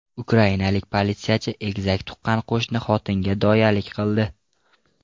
Ukrainalik politsiyachi egizak tuqqan qo‘shni xotinga doyalik qildi.